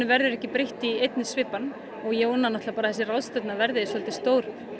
verður ekki breytt í einni svipan og ég vona að þessi ráðstefna verði stór